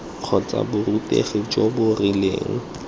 kgotsa borutegi jo bo rileng